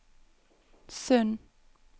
Sund